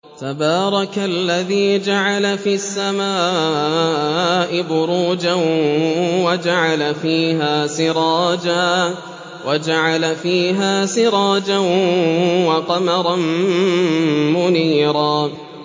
تَبَارَكَ الَّذِي جَعَلَ فِي السَّمَاءِ بُرُوجًا وَجَعَلَ فِيهَا سِرَاجًا وَقَمَرًا مُّنِيرًا